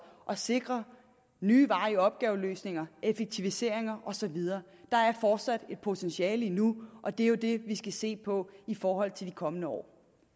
at sikre nye veje i opgaveløsninger effektiviseringer og så videre der er fortsat et potentiale endnu og det er jo det vi skal se på i forhold til de kommende år